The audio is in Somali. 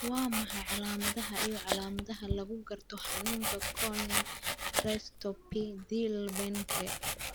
Waa maxay calamadaha iyo calaamadaha lagu garto xanuunka Corneal dystrophy Thiel Behnke?